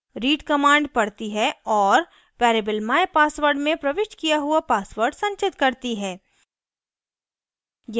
read command पढ़ती है और variable mypassword में प्रविष्ट किया हुआ password संचित करती है